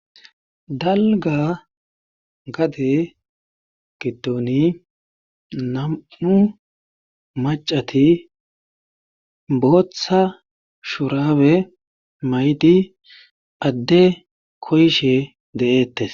dalga gade gidoni nam7u macati booththa shurabe maydi adde koyshe de7eettes